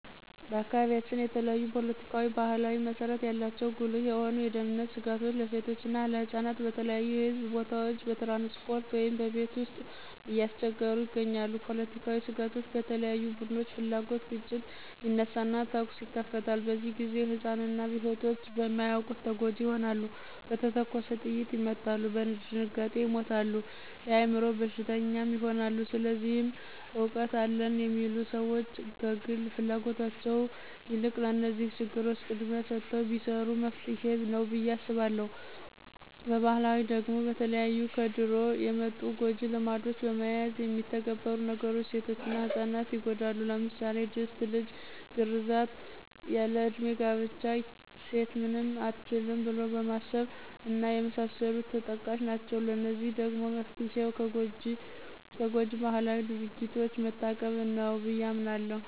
በአካባቢያችን የተለያዪ ፖለቲካዊና ባህላዊ መሰረት ያላቸው ጉልህ የሆኑ የደህንነት ስጋቶች ለሴቶችና ለህጻናት በተለያዩ የህዝብ ቦታዎች፣ በትራንስፖርት ውይም በቤት ውስጥ እያስቸገሩ ይገኛሉ። ፖለቲካዊ ስጋቶች በተለያዩ ቡድኖች ፍላጉት ግጭት ይነሳና ተኩስ ይከፈታል፤ በዚህ ግዜ ህፃናትና ሴቶች በማያዉቁት ተጎጅ ይሆናሉ፣ በተተኮሰ ጥይት ይመታሉ፣ በድንጋጤ ይሞታሉ፣ የአይምሮ በሽተኛም ይሆናሉ። ስለዚህ እውቀት አለን የሚሉ ሰዎች ከግል ፍላጎታቸው የልቅ ለነዚህ ችግሮች ቅድሚያ ሰተው ቢሰሩ መፍትሄ ነዉ ብየ አምናለሁ። በባህላዊ ደግሞ በተለያዩ ከድሮ የመጡ ጎጅ ልማዶችን በመያዝ የሚተገበሩ ነገሮች ሴቶችና ህጻናት ይጎዳሉ ለምሳሌ ድስት ልጅ ግርዛት፣ ያል ለዕድሜ ጋብቻ፣ ሴት ምንም አትችልም ብሎ ማሰብ እና የመሳሰሉት ተጠቃሽ ናቸው። ለዚህ ደግሞ መፍትሄው ከጎጅ ባህላዊ ድርጊቶች መታቀብ ነው ብየ አምናለሁ።